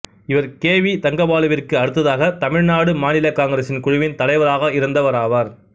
இவர் K V தங்கபாலுவிற்கு அடுத்ததாக தமிழ்நாடு மாநில காங்கிரசுக் குழுவின் தலைவராக இருந்தவர் ஆவார்